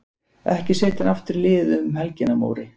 Ekki setja hann aftur í liðið um helgina Móri.